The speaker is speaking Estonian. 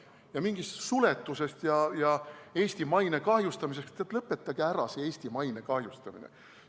Ja mingi suletus ja Eesti maine kahjustamine – teate, lõpetage ära see Eesti maine kahjustamise jutt.